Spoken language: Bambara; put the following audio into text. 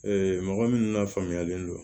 mɔgɔ minnu lafaamuyalen don